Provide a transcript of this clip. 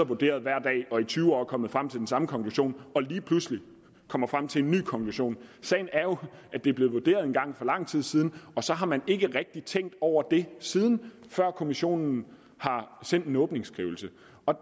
vurderet hver dag og i tyve år er kommet frem til den samme konklusion og lige pludselig kommer frem til en ny konklusion sagen er jo at det er blevet vurderet engang for lang tid siden og så har man ikke rigtig tænkt over det siden før kommissionen har sendt en åbningsskrivelse